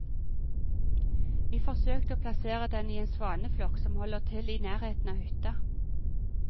Vi forsøkte å plassere den i en svaneflokk som holder til i nærheten av hytta.